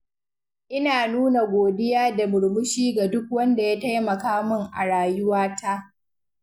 Ina nuna godiya da murmushi ga duk wanda ya taimaka min a rayuwata.